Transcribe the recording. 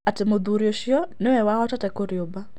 Atĩ mũthuri ũcio niwe wahotete kũrĩũmba.